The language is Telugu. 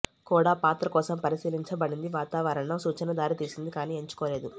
కూడా పాత్ర కోసం పరిశీలించబడింది వాతావరణ సూచన దారితీసింది కానీ ఎంచుకోలేదు